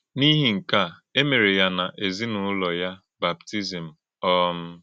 N’ìhì nke a, e mere ya na èzìnúlò ya bàptízmù. um